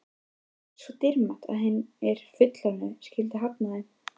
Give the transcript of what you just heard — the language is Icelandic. Svo dýrmætt að hinir fullorðnu skyldu hafna þeim.